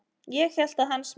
Ég hélt að hans menn.